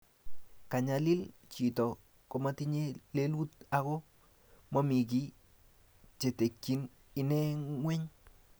Kanyalil chito komotinye lelut ako momekiy chetekyin ine ngweny